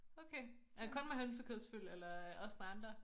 Okay er det kun med hønsekødsfyld eller også med andre?